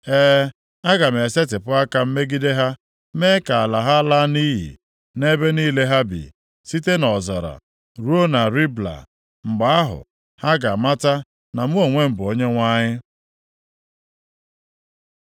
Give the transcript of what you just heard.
E, aga m esetipụ aka m megide ha, mee ka ala ha laa nʼiyi, nʼebe niile ha bi, site nʼọzara + 6:14 Maọbụ, mbara ịkpa ruo na Ribla. Mgbe ahụ, ha ga-amata na mụ onwe m bụ Onyenwe anyị.’ ”